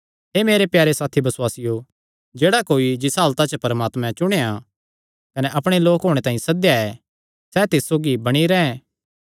हे मेरे प्यारे साथी बसुआसियो जेह्ड़ा कोई जिसा हालता च परमात्मे चुणेया कने अपणे लोक होणे तांई सद्देया ऐ सैह़ तिस सौगी बणी रैंह्